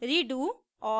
redo